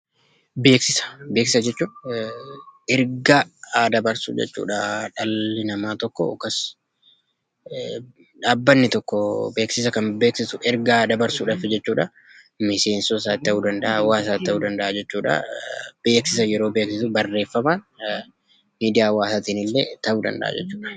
Beeksisa: Beeksisa jechuun ergaa dabarsuu jechuudha. Dhalli namaa tokko yookaan dhaabbanni tokko beeksisa kan beeksisu ergaa kan dabarsudhaaf jechuudha miseensota isaatti ta'uu danda’a, hawwaasas ta'uu danda’a jechuudha. beeksisa kan beeksisu barreeffamaan yookaan miidiyaa hawaasaatiin illee ta'uu danda’a jechuudha.